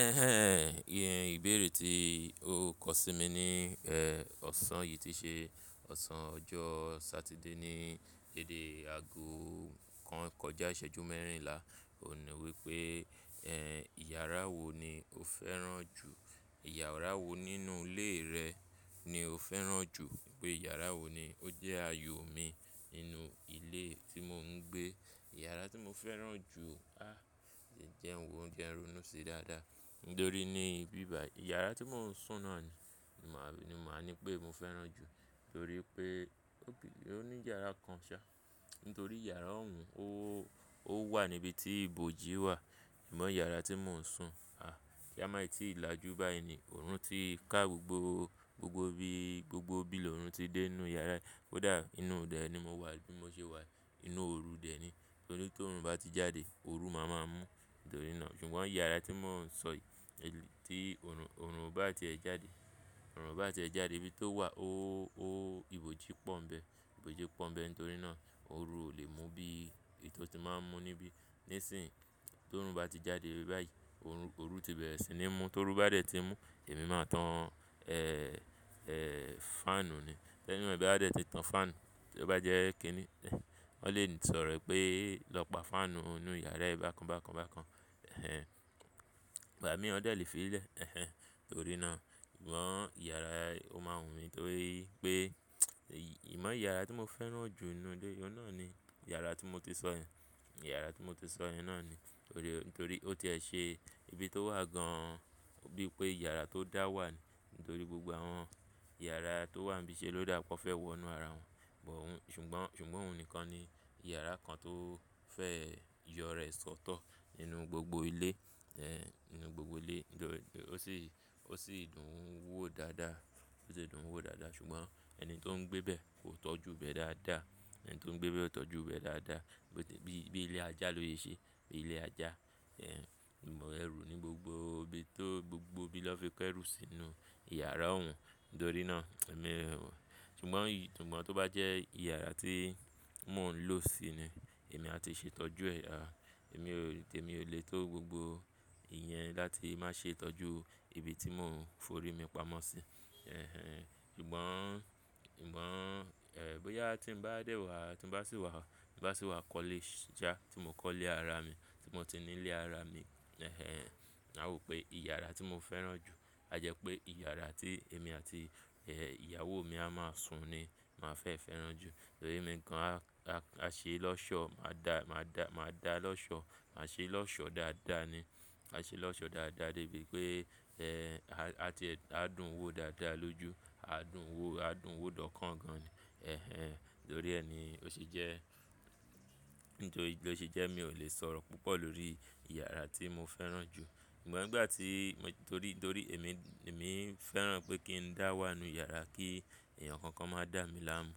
Ẹ̀hẹ̀n, ìyẹn ìbéèrè tí o kọ sí mi ní, ẹ́, ọ̀sán yìí tí ṣe ọ̀sán ọjọ́ Satide ní déde aago kan kọjá ìṣẹ́jú mẹ́rìnlá. Òun ní wípé, ẹ́, ìyàrá wo ni o fẹ́ràn jù? Ìyàrá wo nínú ilé rẹ ni o fẹ́ràn jù? Wípé yàrá wo ni ó jẹ́ aayò mi nínú ilé tí mò ń gbé. Yàrá tí mò ń fẹ́ràn jù, áh, ṣì jẹ́ hun wo je ń ronu ṣi dáadáa. Nítorí ní ibíbayi, iyàrá tí mò ń sùn náà ni, màá, ni màá ní pé mò fẹ́ràn jù. Nítorí pé ó gbilé, ó ní yàrá kan ṣá. Nítorí yàrá ọ̀ún, ó, ó wà níbi tí ibòji wà. Amọ̀ yàrá tí mò ń sùn, àh, ki á màí tí làjú báyi ni, òòrùn ti ka gbogbo, gbogbo bí, gbogbo bílò òòrùn ti dé inú yàrá. Ó dà, inú de ni mo wà bí mo ṣe wà yi inú òru dẹ̀ ni. Nítorí ti òòrùn bá ti jáde, òru máa máa mú. Nítorí náà, ṣùgbọ́n yàrá tí mò ń sọ yìí, ti òòrùn, òòrùn o baá ti ẹ̀ jáde, òòrùn o baá ti ẹ̀ jáde, ibi tó wà ó, ó, ibòji pọ́ n bẹ. Ibòji pọ́n bẹ. Nítorí náà, òru ò lè mú bí, bí tó ti máa ń mú níbí. Ní sìń yìí tó òòrùn bá ti jáde báyìí, òòrùn, òòrùn ti bẹ̀rẹ̀ sí ní mú, tó ru bá dẹ̀ tí ń mú, èmi máa tan, ẹ́, ẹ́, fáànù ni. Ti anybody ba de ti tan faanu, tí ẹ bá jẹ́ kíni, ẹ́, wọ́n lè sọ̀rọ̀ pé, "Lọ pa fáànù inú yàrá ẹ bákan bákan bákan." Ẹ̀hẹ̀n, ìgbà mí wọ́n dẹ̀ lè fi í lẹ̀. Ẹ̀hẹ̀n, nítorí náà, ṣùgbọ́n ìyàrá ó máa wù mí. Nítorí pé, ì, ìmọ̀ ìyàrá tí mò ń fẹ́ràn jù nínú ilé, ọ̀un nà ni ìyàrá tí mo ti sọ yẹn. Ìyàrá tí mo ti sọ yẹn náà ni. Nítorí, nítorí ó ti ẹ ṣe ibi tó wà gan-an. Bí pé ìyàrá tó dá wà ni. Nítorí gbogbo àwọn ìyàrá tó wà n bí ṣe ló dà pe won fẹ́ wọ inú ara wọn. Ṣùgbọ́n, ṣùgbọ́n òun nìkan ni ìyàrá kan tó fẹ́ yọ ra e sọ́tọ̀ nínú gbogbo ilé. Ẹ̀hẹ̀n, nínú gbogbo ilé. Nítorí ó sì, ó sì dùn ún wò dáadáa. Ó sì dùn ún wò dáadáa. Ṣùgbọ́n ẹni tó ń gbé bẹ́ẹ̀ kò tọ́jú bẹ́ẹ̀ dáadáa. Ẹni tó ń gbé bẹ́ẹ̀ ò tọ́jú bẹ́ẹ̀ dáadáa. Bí, bí ilé ajá ló sẹ ṣe. Bí ilé ajá. Ẹ̀hẹ̀n, ìmọ̀ ẹrù ní gbogbo ibi tó, gbogbo ibi lọ fi kẹ́rù sínú ìyàrá òún. Nítorí náà, èmi o. Ṣùgbọ́n, ṣùgbọ́n tó bá jẹ́ ìyàrá tí mò ń lò sí ni, èmi á ti ṣe ìtọ́jú ẹ̀. Èmi ò lè, tèmi ò lè tó gbogbo ìyẹn láti má ṣe ìtọ́jú ibi tí mò ń forí mi pamọ́ sí. Ẹ̀hẹ̀n, ṣùgbọ́n, ṣùgbọ́n, ẹ́, bóyá tí ń bá dẹ̀ wá, tí ń bá sì wà, tí ń bá sì wà kole sa, tí mo kọ́ ilé ara mi, tí mo ti ní ilé ara mi. Ẹ̀hẹ̀n, ma wó pé ìyàrá tí mò fẹ́ràn jù, a jẹ pé ìyàrá tí èmi àti, ẹ́, ìyàwó mi a máa sùn ni màá fẹ́ fẹ́ràn jù. Nítorí emi gan á, á, a ṣe lọ́ṣọ̀. Màá dà, màá dà, màá dà lọ́ṣọ̀. Ma ṣe lọ́ṣọ̀ dáadáa ni. Ma ṣe lọ́ṣọ̀ dáadáa débi pé, ẹ́, a ti, a dùn ún wò dáadáa lójú. A dùn ún wò, a dùn ún wò dọ́kàn gan-an ni ẹ̀hẹ̀n, nítorí ẹ́ ni ó sì jẹ́, nítorí ló se jẹ́ mi ò lè sọ̀rọ̀ púpọ̀ lórí ìyàrá tí mò fẹ́ràn jù. Ṣùgbọ́n nígbà tí, nítorí, nítorí èmi, èmi ń fẹ́ràn pé kí ń dà wà nínú ìyàrá kí èèyàn kankan má dà mí láàmú.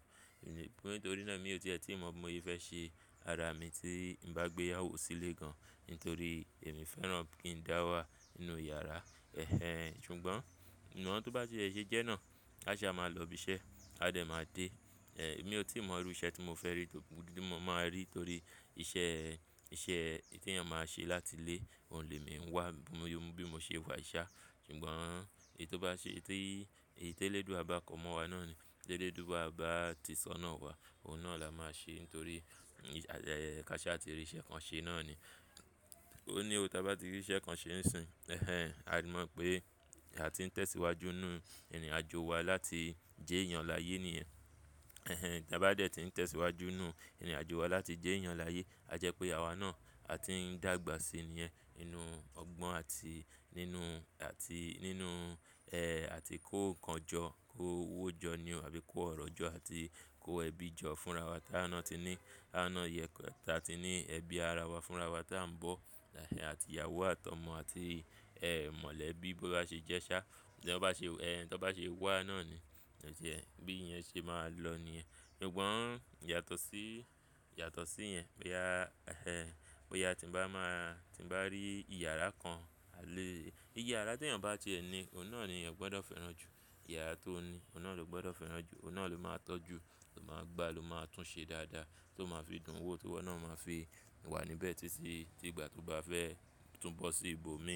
Nítorí náà mi ò tíẹ́ tí mo bi mọ se fẹ́ ṣe ara mi tí ń bá gbé ìyàwó sílé gan. Nítorí èmi ń fẹ́ràn pé kí ń dà wà nínú yàrá. Ẹ̀hẹ̀n, ṣùgbọ́n, ṣùgbọ́n tó bá ti e se jẹ́ náà, aáṣá màá lọ ibiṣẹ́, á dẹ̀ máa dé. Ẹ̀, èmi ò tí ì mọ irú iṣẹ́ tí mò fẹ́ rí tórí ti mo máa rí. Nítorí iṣẹ́, iṣẹ́ tí èyàn máa ṣe láti ilé òun lè mí wá bí mo ṣe wà yi ṣá. Ṣùgbọ́n èyí tó bá ṣe, èyití, èyití elédùa bá ko mọ̀ wá náà ni. Elédùa bá ti sọ́nà wà, òun náà la máa ṣe. Nítorí káṣaá ti rí iṣẹ́ kan ṣe náà ni. Óun ní ò tá bá ti rí iṣẹ́ kan ṣe ń sin. Ẹ̀hẹ̀n, a mọ̀ pé àti ń tẹ̀síwájú nínú ìrìnàjò wa láti je èèyàn láyé nìyẹn. Ẹ̀hẹ̀n, tá bá dẹ̀ ti ń tẹ̀síwájú nínú ìrìnàjò wa láti jí èèyàn láyé, a jẹ pé àwa náà á ti ń dàgbà síi nìyẹn nínú ọgbọ́n àti nínú, àti nínú, ẹ́, àti kó ǹkan jọ, kó owó jọ ní ò àbí kó ọ̀rọ̀ jọ àti kó ẹbí jọ fúnra wá táwa náà ti ní. A ná yẹ ká tí a ti ní ẹbí ara wa fúnra wá tá ń bọ̀. Àti ìyàwó àti ọmọ àti, ẹ́, mọ̀lẹ́bí bó bá ṣe jẹ́ ṣá. Tí wọ́n bá ṣe, ẹ́, tí wọ́n bá ṣe wà náà ni. Ẹ̀jẹ̀, bí i yẹn ṣe máa lọ ní yẹn. Ṣùgbọ́n yàtọ̀ sí, yàtọ̀ sí í yẹn, bóyá, ẹ́, bóyá tí ń bá máa, tí ń bá rí ìyàrá kan, à léè. Iye yàrá tí èèyàn bá ti ẹ ní, òun náà ni ọ̀ gbọ́dọ̀ fẹ́ràn jù. Ìyàrá tó ní, òun náà ló gbọ́dọ̀ fẹ́ràn jù. Òun náà ló máa tọ́jú, ló máa gbá, ló máa túnṣe dáadáa. Tó máa fi dùn ún wò, tó wọ́n náà ó máa fi wà níbẹ̀ títí, tí ìgbà tó bá fẹ́ tú bọ́ sí ibòmíràn.